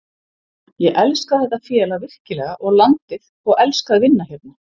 Ég elska þetta félag virkilega og landið og elska að vinna hérna.